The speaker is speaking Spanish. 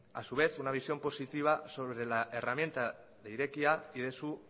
a su vez una visión positiva sobre la herramienta de irekia y de su